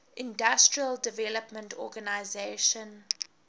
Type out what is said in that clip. industrial development organization